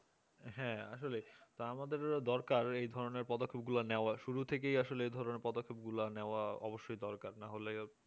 হে আসলে আমাদের দরকার এই ধরনের পদক্ষেপগুলো নেওয়া শুরু থেকেই আসলে এধরণের পদক্ষেপগুলো নেওয়া অবশ্যই দরকার